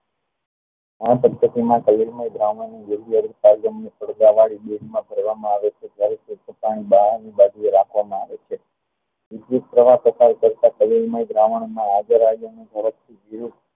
આમ જાવાનું ને બહારની બાજુએ રાખવામાં આવે છે વિદ્યુત પ્રવાહ તથા તલીલમય દ્રાવણમાં થોડોક